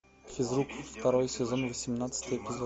физрук второй сезон восемнадцатый эпизод